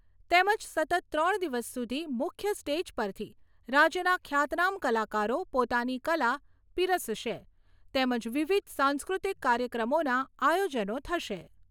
તેમજ સતત ત્રણ દિવસ સુધી મુખ્ય સ્ટેજ પરથી રાજ્યના ખ્યાતનામ કલાકારો પોતાની કલા પીરસશે તેમજ વિવિધ સાંસ્કૃતિક કાર્યક્રમોના આયોજનો થશે.